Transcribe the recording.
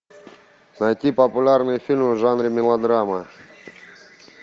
найти популярные фильмы в жанре мелодрама